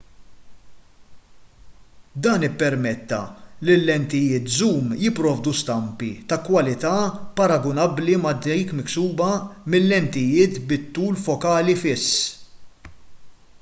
dan ippermetta li l-lentijiet żum jipprovdu stampi ta' kwalità paragunabbli ma' dik miksuba mil-lentijiet bit-tul fokali fiss